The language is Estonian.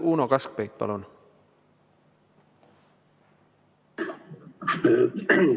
Uno Kaskpeit, palun!